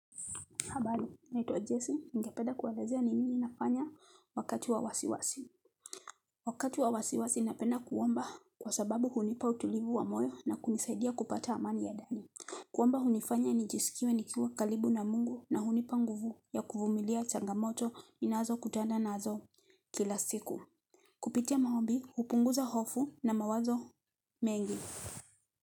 Habari, naitwa Jesse, ningepeda kuelezea ni nini nafanya wakati wa wasiwasi. Wakati wa wasiwasi napenda kuomba kwa sababu hunipa utulivu wa moyo na kunisaidia kupata amani ya dani. Kuomba hunifanya nijisikiwe nikiwa kalibu na mungu na hunipa nguvu ya kuvumilia changamoto ninazokutanda nazo kila siku. Kupitia maombi, hupunguza hofu na mawazo mengi.